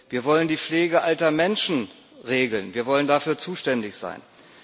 Wir wollen die Pflege alter Menschen regeln, wir wollen dafür zuständig sein.